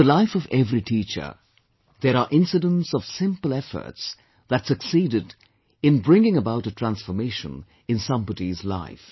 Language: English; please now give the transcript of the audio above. In the life of every teacher, there are incidents of simple efforts that succeeded in bringing about a transformation in somebody's life